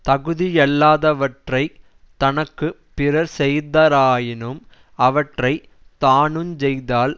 தகுதியல்லாதவற்றைத் தனக்கு பிறர்செய்தாராயினும் அவற்றை தானுஞ் செய்தால்